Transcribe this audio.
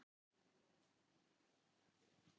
Hvað er brúðkaup án brúðguma?